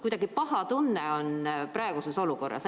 Kuidagi paha tunne on praeguses olukorras.